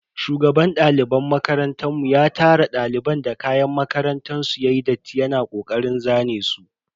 Shugaban daliban makarantan mu ya tara daliban da kayan makarantar su yayi datti yana kokarin zane su.